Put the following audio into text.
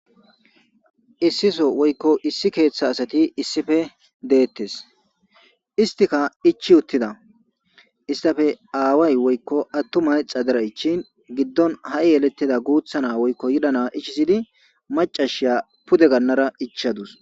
Issi so woykko issi keeththa asati issippe deettes. Istika ichi uttida istappe aaway woykko attumay xadera ichin giddon ha'i yelettida guutha naa woykko yira naa ichisidi macasiya pude gannara ichadus.